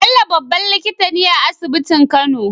Bello babban likitane a asibitin kano